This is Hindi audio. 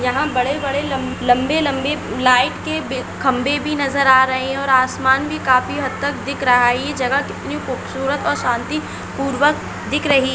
यहाँ बड़े बड़े लं लंबे लंबे लाइट के बे खंबे भी नजर आ रहे है और आसमान भी काफी हदतक दिख रहा है ये जगह कितनी खूबसूरत और शांति पूर्वक दिख रही --